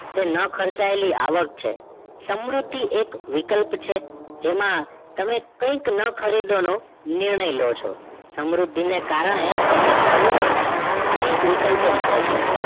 તે ન ખર્ચાયેલી આવક છે સમૃદ્ધિ એક વિકલ્પ છે જેમાં તમે કઈક ન ખરીદવાનો નિર્ણય લો છો સમૃદ્ધિ ના કારણે તમને એન અનેક વિકલ્પ મળે છે